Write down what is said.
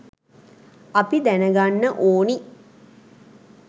අපි දැනගන්න ඕනි